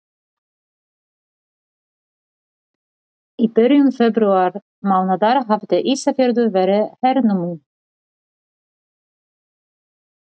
Í byrjun febrúarmánaðar hafði Ísafjörður verið hernuminn.